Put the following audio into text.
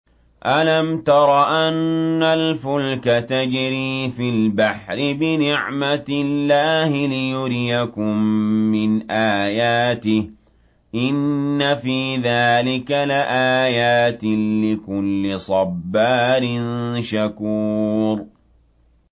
أَلَمْ تَرَ أَنَّ الْفُلْكَ تَجْرِي فِي الْبَحْرِ بِنِعْمَتِ اللَّهِ لِيُرِيَكُم مِّنْ آيَاتِهِ ۚ إِنَّ فِي ذَٰلِكَ لَآيَاتٍ لِّكُلِّ صَبَّارٍ شَكُورٍ